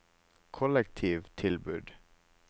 kollektivtilbud